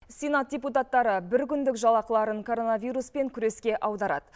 сенат депутаттары бір күндік жалақыларын коронавируспен күреске аударады